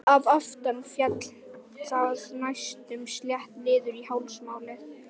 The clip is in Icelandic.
Að aftan féll það næstum slétt niður á hálsmálið.